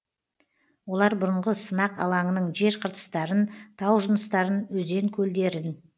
олар бұрынғы сынақ алаңының жер қыртыстарын тау жыныстарын өзен көлдерін